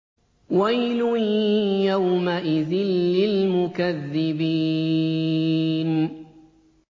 وَيْلٌ يَوْمَئِذٍ لِّلْمُكَذِّبِينَ